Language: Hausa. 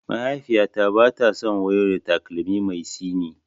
Mahaifiyata bata son wayo da takalmin mai tsini.